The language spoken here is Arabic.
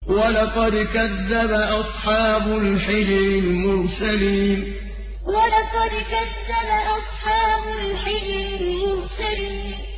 وَلَقَدْ كَذَّبَ أَصْحَابُ الْحِجْرِ الْمُرْسَلِينَ وَلَقَدْ كَذَّبَ أَصْحَابُ الْحِجْرِ الْمُرْسَلِينَ